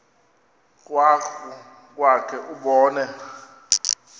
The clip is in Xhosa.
krwaqu kwakhe ubone